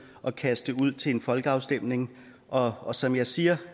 at kaste det ud til en folkeafstemning og og som jeg siger